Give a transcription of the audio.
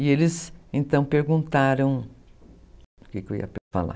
E eles, então, perguntaram...